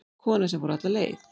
Kona sem fór alla leið